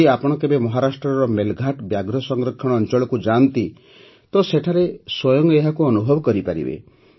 ଯଦି ଆପଣ କେବେ ମହାରାଷ୍ଟ୍ରର ମେଲଘାଟ ବ୍ୟାଘ୍ର ସଂରକ୍ଷଣ ଅଞ୍ଚଳକୁ ଯାଆନ୍ତି ତ ସେଠାରେ ସ୍ୱୟଂ ଏହାକୁ ଅନୁଭବ କରିପାରିବେ